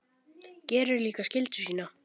Gerir líka skyldu sína.